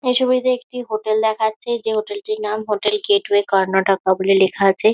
এই ছবিতে একটি হোটেল দেখাচ্ছে। যে হোটেল -টির নাম হোটেল গেটওয়ে কর্ণাটকা বলে লেখা আছে।